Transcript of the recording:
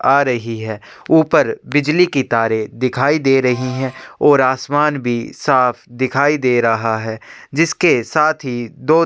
आ रही है ऊपर बिजली की तारे दिखाई दे रही हैं और आसमान भी साफ दिखाई दे रहा है जिसके साथ ही दो --